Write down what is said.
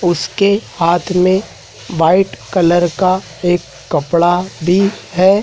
उसके हाथ में वाइट कलर का एक कपड़ा भी है।